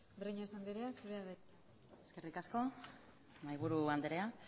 breñas andrea zurea da hitza eskerrik asko mahai buru andrea